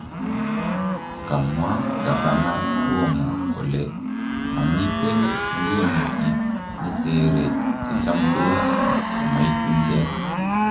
Kamwa Gavana Cuomo kole maamiten nguni kit netere chechamdos komaitun kee.